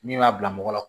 Min b'a bila mɔgɔ la